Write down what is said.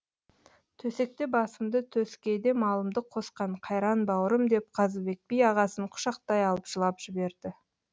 төсекте басымды төскейде малымды қосқан қайран бауырым деп қазыбек би ағасын құшақтай алып жылап жіберді